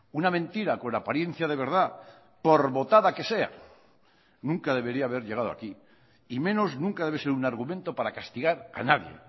una mentira con apariencia de verdad por votada que sea nunca debería haber llegado aquí y menos nunca debe ser un argumento para castigar a nadie